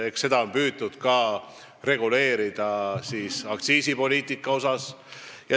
Eks on püütud reguleerida ka aktsiisipoliitikat.